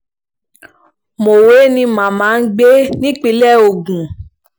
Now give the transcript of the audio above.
mọ̀wé ni màmá ń gbé nípìnlẹ̀ ogun